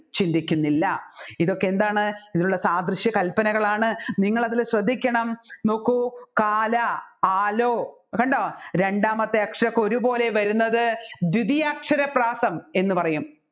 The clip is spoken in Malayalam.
ചിന്തിക്കുന്നില്ല ഇതൊക്കെ എന്താണ് ഇതിലുള്ള സാദൃശ്യ കല്പനകളാണ് നിങ്ങൾ അതിൽ ശ്രദ്ധിക്കണം നോക്കു കാല ആലോ കണ്ടോ രണ്ടാമത്തേ അക്ഷരൊക്കെ ഒരുപോലെ വരുന്നത് ദ്വിതിയക്ഷരപ്രാസം എന്ന് പറയും